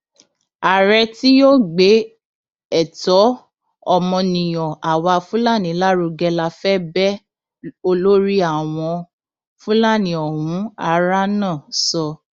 ààrẹ tí yóò gbé ẹtọ ọmọnìyàn àwa fúlàní lárugẹ la fẹ bẹẹ olórí àwọn fúlàní ọhún háránà sọ